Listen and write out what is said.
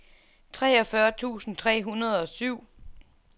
treogfyrre tusind tre hundrede og syv